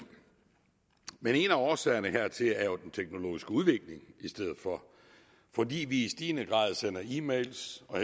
men en af årsagerne er jo den teknologiske udvikling fordi vi i stigende grad sender e mails og